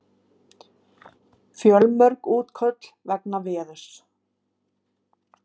Fjölmörg útköll vegna veðurs